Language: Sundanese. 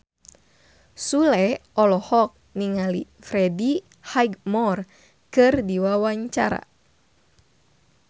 Sule olohok ningali Freddie Highmore keur diwawancara